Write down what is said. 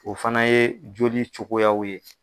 O fana ye joli cogoyaw ye.